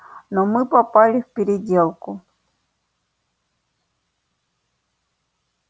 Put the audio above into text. но мы попали в переделку